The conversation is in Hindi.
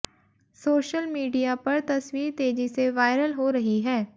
सोशल मीडिया पर तस्वीर तेजी से वायरल हो रही है